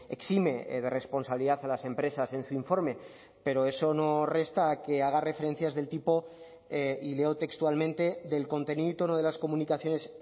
exime de responsabilidad a las empresas en su informe pero eso no resta que haga referencias del tipo y leo textualmente del contenido y tono de las comunicaciones